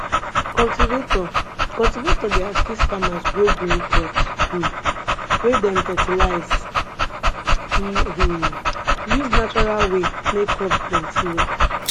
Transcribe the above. cultivator cultivator dey assist farmers grow green crops um wey dem fertilize e um use natural way make crops plenty well